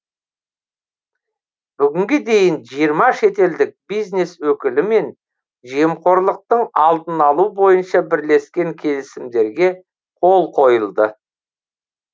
бүгінге дейін жиырма шетелдік бизнес өкілімен жемқорлықтың алдын алу бойынша бірлескен келісімдерге қол қойылды